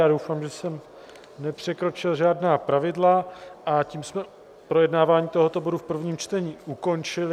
Já doufám, že jsem nepřekročil žádná pravidla, a tím jsme projednávání tohoto bodu v prvním čtení ukončili.